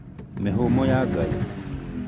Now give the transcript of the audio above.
Mĩhũmũ ya Ngai